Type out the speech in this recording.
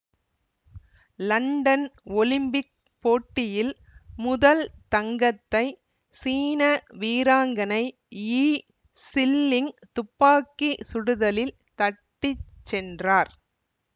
London Olympic போட்டியில் முதல் தங்கத்தை சீன வீராங்கனை யி சில்லிங் துப்பாக்கி சுடுதலில் தட்டி சென்றார்